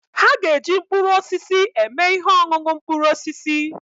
Ha ga-eji mkpụrụ osisi eme ihe ọṅụṅụ mkpụrụ osisi